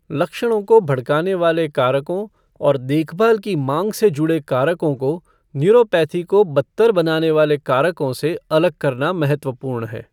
लक्षणों को भड़काने वाले कारकों और देखभाल की माँग से जुड़े कारकों को न्यूरोपैथी को बदतर बनाने वाले कारकों से अलग करना महत्वपूर्ण है।